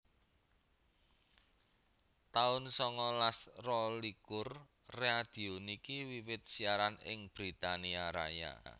taun songolas rolikur Radio niki wiwit siaran ing Britania Raya